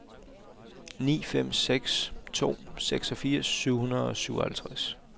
ni fem seks to seksogfirs syv hundrede og syvoghalvtreds